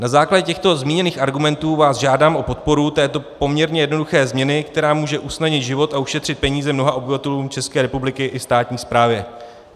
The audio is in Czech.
Na základě těchto zmíněných argumentů vás žádám o podporu této poměrně jednoduché změny, která může usnadnit život a ušetřit peníze mnoha obyvatelům České republiky i státní správě.